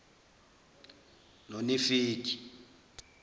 nonefegi